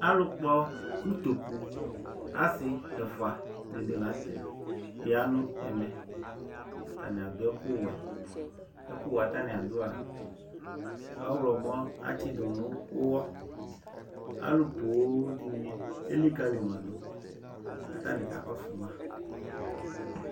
Alʋkpɔ ʋtokʋ asi ɛfʋa dini lanʋtɛ yanʋ ɛmɛ atani adʋ ɛkʋwɛ ɛkʋwɛ atani adʋa ɔwlɔmɔ atsidʋ nʋ ʋwɔ alʋ poo dini elikali madʋ kʋ atani kakɔsʋ ma